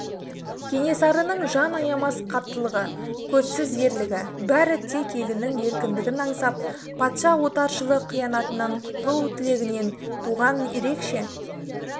кенесарының жан аямас қаттылығы көзсіз ерлігі бәрі тек елінің еркіндігін аңсап патша отаршылық қиянатынан құтылу тілегінен туған ерекше